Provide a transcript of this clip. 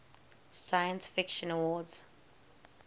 science fiction awards